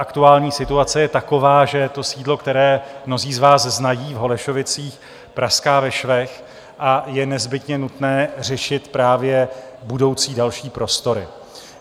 Aktuální situace je taková, že to sídlo, které mnozí z vás znají, v Holešovicích, praská ve švech a je nezbytně nutné řešit právě budoucí další prostory.